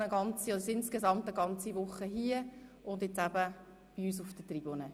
Die Gruppe wird insgesamt eine Woche hier zu Besuch sein.